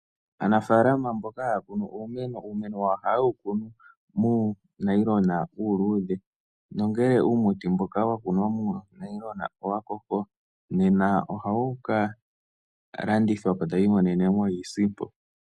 Aanafalama mbyoka haya kunu uumeno, uumeno wawo ohaye wu kunu muunailona uuludhe nongele uumuti mboka wa kunwa muunailona owa koko, nena ohawuka landithwapo, taya imonenemo iisimpo.